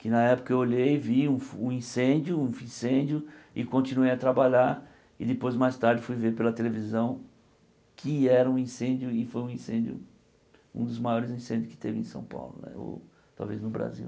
que na época eu olhei e vi um incêndio, um incêndio, e continuei a trabalhar e depois mais tarde fui ver pela televisão que era um incêndio e foi um incêndio, um dos maiores incêndios que teve em São Paulo né, ou talvez no Brasil.